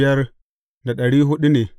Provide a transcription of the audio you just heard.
Yawan mutanen sashensa ne.